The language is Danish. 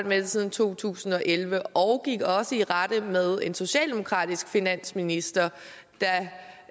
med det siden to tusind og elleve og gik også i rette med en socialdemokratisk finansminister